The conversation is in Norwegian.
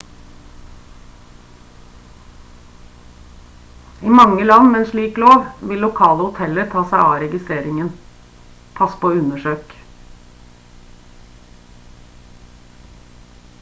i mange land med en slik lov vil lokale hoteller ta seg av registreringen pass på å undersøke